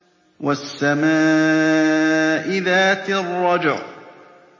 وَالسَّمَاءِ ذَاتِ الرَّجْعِ